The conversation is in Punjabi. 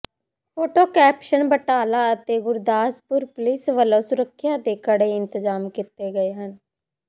ਫੋਟੋ ਕੈਪਸ਼ਨ ਬਟਾਲਾ ਅਤੇ ਗੁਰਦਾਸਪੁਰ ਪੁਲਿਸ ਵਲੋਂ ਸੁਰੱਖਿਆ ਦੇ ਕੜੇ ਇੰਤਜ਼ਾਮ ਕੀਤੇ ਗਏ ਹਨ